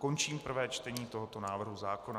Končím prvé čtení tohoto návrhu zákona.